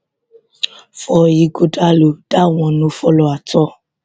for ighodalo dat one no follow at all